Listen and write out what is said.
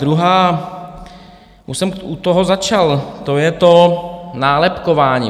Druhá, už jsem u toho začal, to je to nálepkování.